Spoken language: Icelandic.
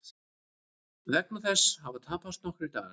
Vegna þess hafa tapast nokkrir dagar